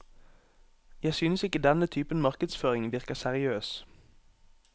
Jeg synes ikke denne typen markedsføring virker seriøs.